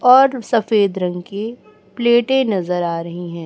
और सफेद रंग की प्लेटे नजर आ रही है।